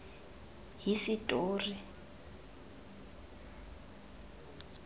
hisetori